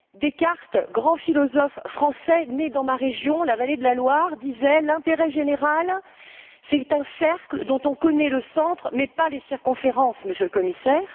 Descartes, grand philosophe français né dans ma région, la vallée de la Loire, disait L'intérêt général, c'est un cercle dont on connaît le centre mais pas les circonférences, Monsieur le Commissaire.